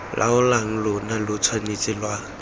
laolang lona lo tshwanetse lwa